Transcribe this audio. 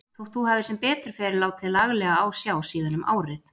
Þótt þú hafir sem betur fer látið laglega á sjá síðan um árið.